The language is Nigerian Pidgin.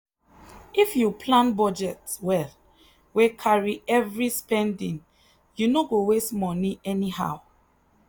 if you plan budget well wey carry every spending you no go waste money anyhow.